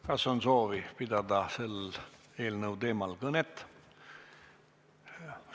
Kas on soovi pidada selle eelnõu teemal kõnet?